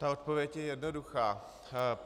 Ta odpověď je jednoduchá.